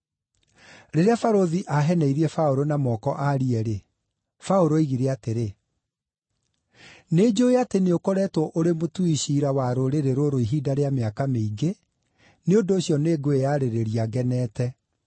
Rĩrĩa barũthi aaheneirie Paũlũ na moko aarie-rĩ, Paũlũ oigire atĩrĩ, “Nĩnjũũĩ atĩ nĩũkoretwo ũrĩ mũtui ciira wa rũrĩrĩ rũrũ ihinda rĩa mĩaka mĩingĩ, nĩ ũndũ ũcio nĩngwĩyarĩrĩria ngenete.